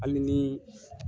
Hali ni